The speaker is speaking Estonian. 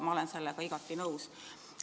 Ma olen sellega igati nõus.